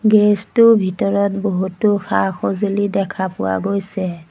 Garage টোৰ ভিতৰত বহুতো সা-সজুঁলি দেখা পোৱা গৈছে।